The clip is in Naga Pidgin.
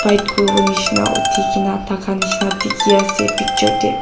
kuriwo nishi na uthikae na thaka nishi na dikhiase picture tae.